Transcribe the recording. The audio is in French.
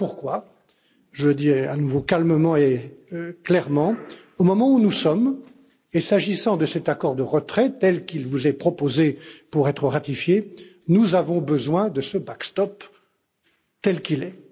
Voilà pourquoi, je le dis à nouveau calmement et clairement, au moment où nous sommes, et s'agissant de cet accord de retrait tel qu'il vous est proposé pour être ratifié, nous avons besoin de ce backstop tel qu'il est.